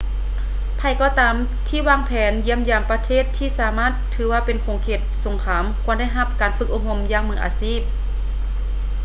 ໃຜກໍຕາມທີ່ວາງແຜນຢ້ຽມຢາມປະເທດທີ່ສາມາດຖືວ່າເປັນເຂດສົງຄາມຄວນໄດ້ຮັບການຝຶກອົບຮົມຢ່າງມືອາຊີບ